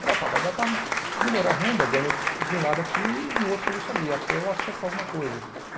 Falei, opa, vai dar para melhorar a renda, ganho de um lado aqui e no outro serviço ali, até eu acertar alguma coisa.